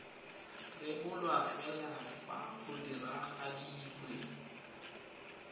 rebolwa fela fa go diragaditswe